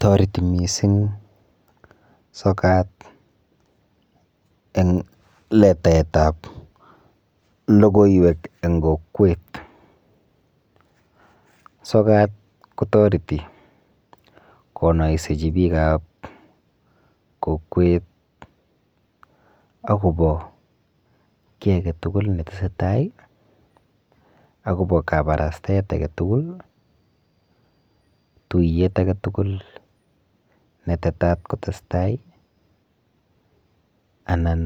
Toreti mising sokat eng letaetap logoiwek eng kokwet. Sokat kotoreti konoisechi biikap kokwet akopo kiy aketugul netesetai, akopo kabarastaet aketugul, tuiyet aketugul netetat kotestai, anan